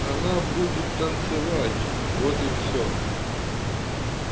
она будет танцевать вот и все